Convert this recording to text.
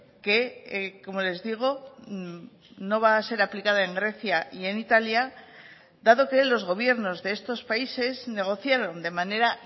que como les digo no va a ser aplicada en grecia y en italia dado que los gobiernos de estos países negociaron de manera